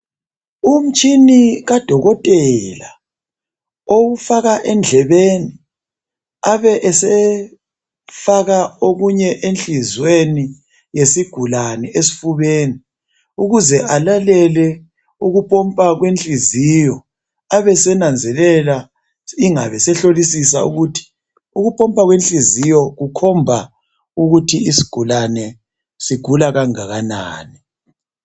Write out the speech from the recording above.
Umtshina kadokotela wokufaka endlebeni, abesefaka okunye enhliziyweni yesigulane esifubeni, ukuze alalele ukupompa kwenhliziyo, abesenanzelela ingabe sehlolisisa ukuthi ukupompa kwenhliziyo kukhomba ukuthi isigulane sigula kangakanani.